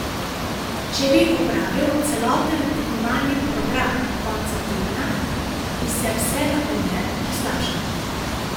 Če bi opravil celoten tekmovalni program konca tedna, bi se vse lahko le poslabšalo.